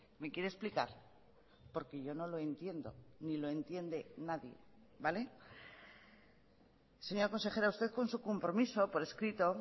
me quiere explicar porque yo no lo entiendo ni lo entiende nadie vale señora consejera usted con su compromiso por escrito